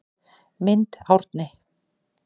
Mynd Árni